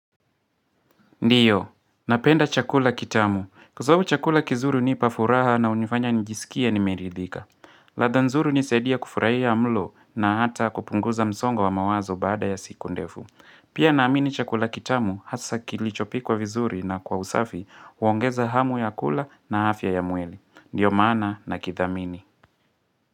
Ndiyo, napenda chakula kitamu. Kwa sababu chakula kizuri hunipafuraha na hunifanya njisikie nimeridhika. Ladha nzuri hunisadia kufurahia mlo na hata kupunguza msongo wa wa mawazo baada ya siku ndefu. Pia naamini chakula kitamu hasa kilichopikwa vizuri na kwa usafi huongeza hamu ya kula na afya ya mwili. Ndio maana nakithamini.